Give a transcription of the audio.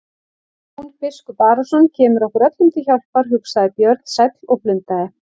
Jón biskup Arason kemur okkur öllum til hjálpar, hugsaði Björn sæll og blundaði.